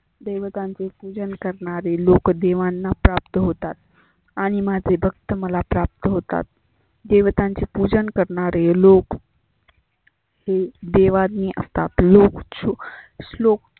देवतांचे पुजन करणारे लोक देवांना प्राप्त होतात. आणि माझे भक्त मला प्राप्त होतात. देवतांचे पुजन करणारे लोक हे देवाज्ञ आसतात. लोक श श्लोक